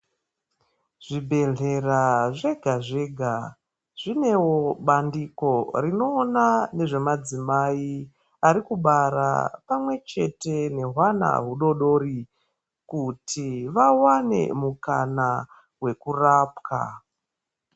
Zvibhehlera zvega zvega zviewo bandiko rinoona ngezvemadzimai arikubara pamwechete nehwana hudodori kuti vawane mukana wekurapwa.